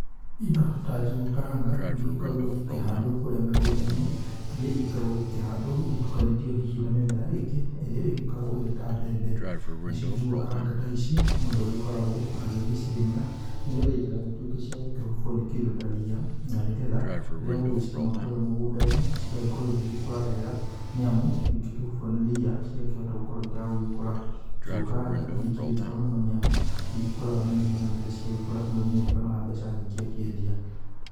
Indo ta njũgũ karanga nĩ igĩkoragwo igĩkĩhandwo kũrĩa mĩgũnda-inĩ, iria igĩkoragwo igĩkĩhandwo igĩtukanĩtio hihi na mĩmera ĩngĩ iria igĩkoragwo ĩrĩ ta mbembe. Nacio njũgũ karanga ta ici, mũndũ agĩkoragwo agĩgĩcirĩmĩra nĩgetha itigagĩtuĩke cia gũkĩhubwo nĩ kĩndũ ta ria na nĩgetha rĩrĩa ũgũgĩcirĩma kũrĩa mũgũnda-inĩ, cigagĩkorwo cigĩgĩkũra wega nĩ amu ingĩkĩhubwo nĩ ria cigakĩhota gũkorwo itagũgĩkũra. Njũgũ karanga nĩ ikĩrĩ njega nĩ amu nĩ igĩkũraga na ihenya na rĩrĩa ciagĩkũra mũrĩmi nĩ akĩonaga mbeca nyingĩ akĩendia.